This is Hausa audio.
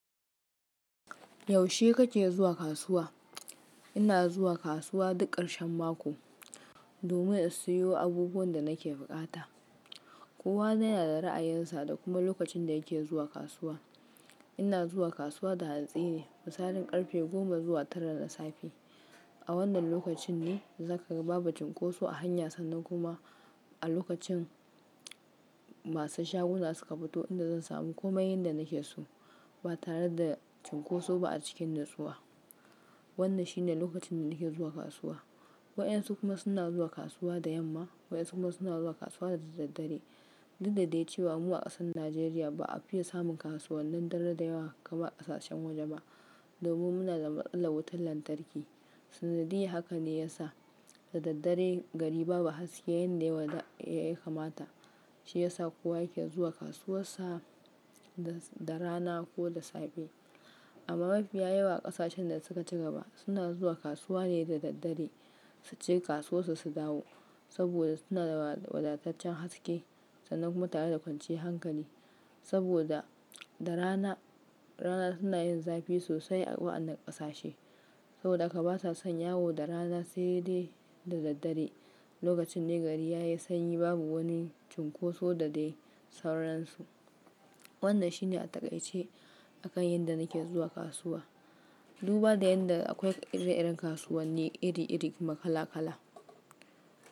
Yaushe kake zuwa kasuwa? Ina zuwa kasuwa duk ƙarshen mako domin in siyo abubuwan da nake buƙata. Kowa yana da ra'ayinsa da kuma lokacin da yake zuwa kasuwa. Ina zuwa kasuwa da hantsine, misalin karfe goma zuwa tara na safe. A wannan lokacin ne zakaga babu cunkoso a hanya sannan kuma a lokacin masu shaguna suka fito inda zan sami komai yadda nake so ba tare da cunkoso ba a cikin nutsuwa. Wannan shine lokacin da nake zuwa kasuwa. Waɗansu kuma suna zuwa kasuwa da yamma, waɗansu kuma suna zuwa kasuwa da daddare. Dak dadai cewa mu a kasar Najeriya ba a fiya samun kasuwannin dare da yawa kamar kasashan waje ba, domin muna da matsalar wutar lantarki. Sanadiyya haka ne ya sa da daddare gari babu haske yanda ya kamata. Shi ya sa kowa yake zuwa kasuwar sa da rana ko da safe. Amma mafiya yawa ƙasashen da suka ci gaba suna zuwa kasuwa ne da daddare su ci kasuwarsu su dawo. Saboda suna da wadataccen haske sannan kuma tare da kwanciyar hankali. Saboda da rana suna yin zafi sosai a waɗannan ƙasashe. Saboda haka ba sa son yawo da rana sai dai da daddare. Lokacin ne gari yayi sanyi babu wani cunkoso da dai sauransu. Wannan shine a taƙaice a kan yadda nake zuwa kasuwa. Duba da yadda akwai ire-iren kasuwanni iri-iri kuma kala-kala.